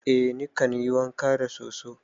Eh nikan yi wanka da soso.